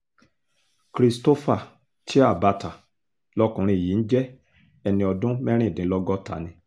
christopher chiabata lọkùnrin yìí ń jẹ́ ẹni ọdún mẹ́rìndínlọ́gọ́ta ni